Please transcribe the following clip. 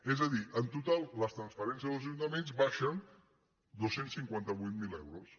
és a dir en total les transferències als ajuntaments baixen dos cents i cinquanta vuit mil euros